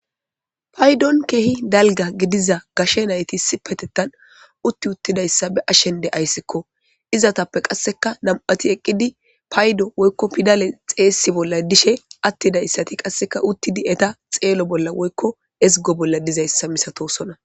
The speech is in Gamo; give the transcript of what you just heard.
paydon kehi dalga gidiza gashe nayti isipetetan utti uttidayssa beashen deayssikko izatappe qasseka namati eqqidi paydo woykko pidale xeyssi bolla dishe attidayssati qasseka uttidi eta xeelo bolla woykko ezgo bolla dizayssa misatosona